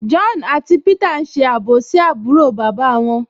John àti Peter n ṣe àbòsí àbúrò bàbá wọn